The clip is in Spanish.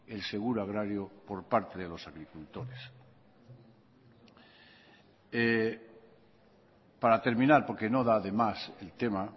el seguro agrario por parte de los agricultores para terminar porque no da de más el tema